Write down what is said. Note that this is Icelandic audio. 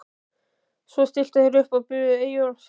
Svo stilltu þeir sér upp og biðu Eyjólfs, ræðumannsins.